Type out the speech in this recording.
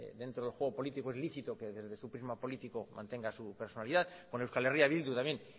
dentro del juego político es lícito que desde su prisma político mantenga su personalidad con euskal herria bildu también